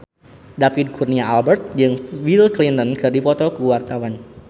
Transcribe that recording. David Kurnia Albert jeung Bill Clinton keur dipoto ku wartawan